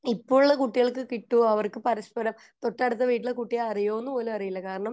ഇപ്പൊ ഉള്ള കുട്ടികൾക്കു കിട്ടുമോ അവര്ക് പരസ്പരം അറിയുന്ന പോലും അറിയില്ല